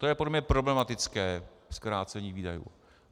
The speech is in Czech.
To je podle mě problematické zkrácení výdajů.